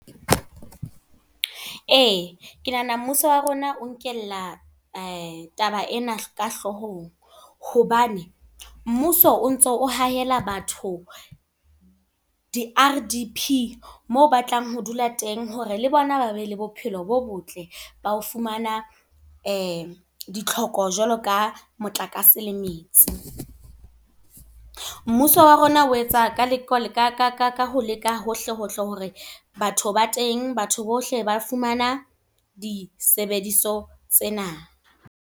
Ee, ke nahana mmuso wa rona o nkella taba ena ka hloohong. Hobane mmuso o ntso o hahela batho di-R_D_P moo batlang ho dula teng, hore le bona ba be le bophelo bo botle. Ba ho fumana ditlhoko jwalo ka motlakase le metsi. Mmuso wa rona o etsa ka ho leka hohle hohle hore batho ba teng. Batho bohle ba fumana disebediso tsena.